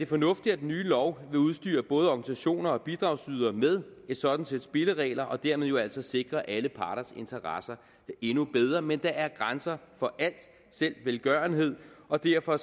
fornuftigt at den nye lov vil udstyre både organisationer og bidragsydere med et sådant sæt spilleregler og dermed jo altså sikre alle parters interesser endnu bedre men der er grænser for alt selv velgørenhed og derfor